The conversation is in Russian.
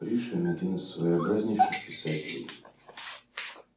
пришвин один из своеобразнейших писателей